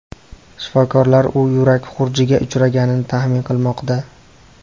Shifokorlar u yurak xurujiga uchraganini taxmin qilmoqda.